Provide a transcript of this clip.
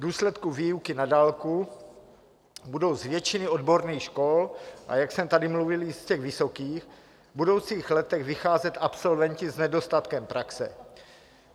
V důsledku výuky na dálku budou z většiny odborných škol, a jak jsem tady mluvil, i z těch vysokých, v budoucích letech vycházet absolventi s nedostatkem praxe.